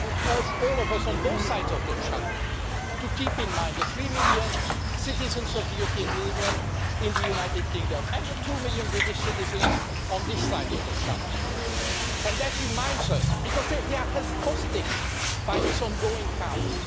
I would urge all of us, on both sides of the Channel, to keep in mind the three million citizens of the European Union in the United Kingdom and the two million British citizens on this side of the Channel because they are held hostage by this ongoing chaos.